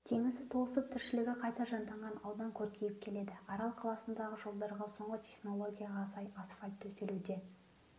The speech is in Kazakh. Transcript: теңізі толысып тіршілігі қайта жанданған аудан көркейіп келеді арал қаласындағы жолдарға соңғы технологияға сай асфальт төселуде